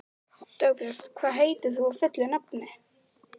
Dagbjört, hvað heitir þú fullu nafni?